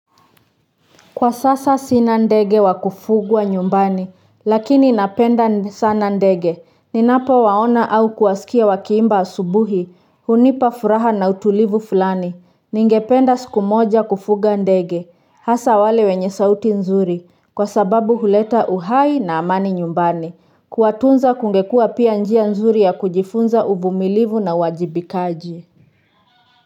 Kwa sasa sina ndege wa kufugwa nyumbani, lakini napenda sana ndege, ninapowaona au kuwasikia wakiimba asubuhi, hunipa furaha na utulivu fulani, ningependa siku moja kufuga ndege, hasa wale wenye sauti nzuri, kwa sababu huleta uhai na amani nyumbani, kueatunza kungekua pia njia nzuri ya kujifunza uvumilivu na uwajibikaji.